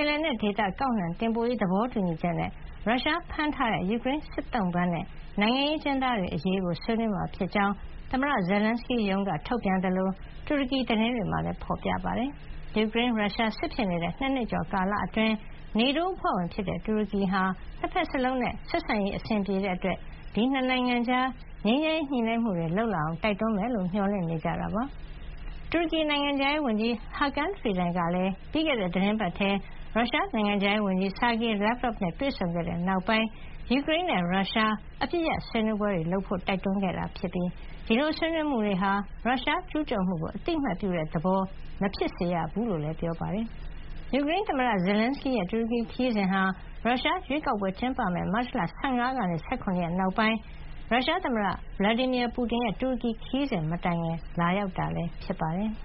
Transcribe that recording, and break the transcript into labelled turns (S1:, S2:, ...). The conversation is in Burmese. S1: င်လယ်နက်ဒေသ ကောက်နှံတင်ပို့ရေး သဘောတူညီချက်နဲ့ ရုရှားဖမ်းထားတဲ့ ယူကရိန်းစစ်သုံ့ပန်းနဲ့ နိုင်ငံရေးအကျဉ်းသားတွေ အရေးကို ဆွေးနွေးမှာ ဖြစ်ကြောင်း သမ္မတ Zelenskyy ရုံးက ထုတ်ပြန်သလို တူရကီသတင်းတွေမှာလည်း ဖေါ်ပြကြပါတယ်။ ယူကရိန်း- ရုရှား စစ်ဖြစ်နေတဲ့ ၂ နှစ်ကျော်ကာလ အတွင်း NATO အဖွဲ့ဝင်ဖြစ်တဲ့ တူရကီဟာ ၂ ဖက်စလုံးနဲ့ ဆက်ဆံရေး အဆင်ပြေတဲ့ အတွက် ဒီ ၂ နိုင်ငံကြား ငြိမ်းချမ်းရေးညှိနှိုင်းမှုတွေ လုပ်လာအောင် တိုက်တွန်းမယ်လို့ မျှော်လင့်နေကြတာပါ။ တူရကီ နိုင်ငံခြားရေးဝန်ကြီး Hakan Fidan ကလည်း ပြီးခဲ့တဲ့ သီတင်းပတ်ထဲ ရုရှား နိုင်ငံခြားရေးဝန်ကြီး Sergey Lavrov နဲ့ တွေ့ဆုံခဲ့တဲ့ နောက်ပိုင်း ယူကရိန်းနဲ့ ရုရှား အပစ်ရပ်ရေးဆွေးနွေးပွဲတွေ လုပ်ဖို့ တိုက်တွန်းခဲ့တာ ဖြစ်ပြီး ဒီလိုဆွေးနွေးမှုတွေဟာ ရုရှားကျူးကျော်မှုကို အသိမှတ်ပြုတဲ့ သဘော မဖြစ်စေရဘူးလို့လည်း ပြောပါတယ်။ ယူကရိန်းသမ္မတ Zelenskyy ရဲ့ တူရကီခရီးစဉ်ဟာ ရုရှားရွေးကောက်ပွဲ ကျင်းပမယ့် မတ်လ ၁၅ ရက်ကနေ ၁၇ ရက်နောက်ပိုင်း ရုရှားသမ္မတ Vladimir Putin ရဲ့တူရကီ ခရီးစဉ် မတိုင်ခင် လာရောက်တာလည်း ဖြစ်ပါတယ်။